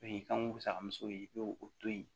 O y'i kanko musakaso ye i b'o o to yi